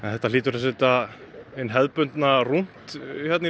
þetta hlýtur að setja hinn hefðbundna rúnt í